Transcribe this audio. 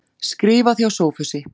Skrifað hjá Sophusi.